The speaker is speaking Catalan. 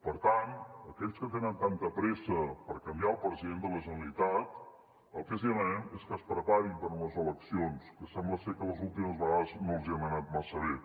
per tant a aquells que tenen tanta pressa per canviar el president de la generalitat el que els demanem és que es preparin per a unes eleccions que sembla que les últimes vegades no els han anat massa bé